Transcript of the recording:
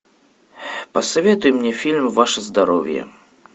посоветуй мне фильм ваше здоровье